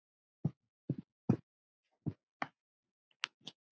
Hanar eru hetjur.